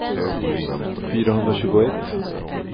fyrahundratjugoett